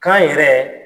Kan yɛrɛ